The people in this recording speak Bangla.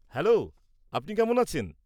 হ্যালো, আপনি কেমন আছেন?